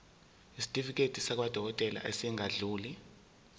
isitifiketi sakwadokodela esingadluli